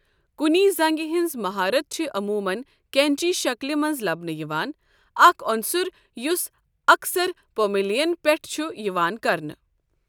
کُنی زنٛگہِ ہٕنٛز مہارت چھِ عموٗمَن قینچی شکلہِ منٛز لَبنہٕ یِوان، اکھ عنصر یُس اَکثر پوملیَن پٮ۪ٹھ چھُ یِوان کرنہٕ۔